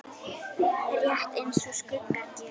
Rétt eins og skuggar gera.